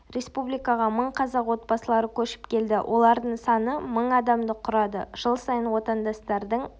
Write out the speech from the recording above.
республикаға мың қазақ отбасылары көшіп келді олардың саны мың адамды құрады жыл сайын отандастардың